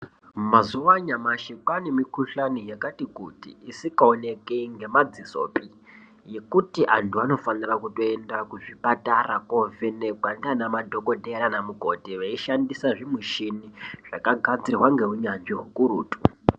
Mazuva anyamashi kwane mikuhlani yakati kuti isingaoneki nemadzisopi yekuti antu anofanira kuenda kuzvipatara kovhenekwa nana madhokodheya nana mukoti veishandisa zvimushini zvakashandiswa neunyanzvi ukurutu.